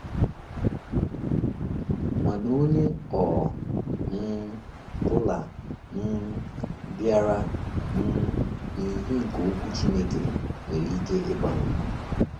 Mana onye ọ um bụla um bịara um n’ìhè nke Okwu Chineke nwere ike ịgbanwe.